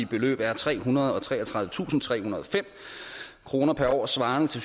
beløb er trehundrede og treogtredivetusindtrehundrede og fem kroner per år svarende til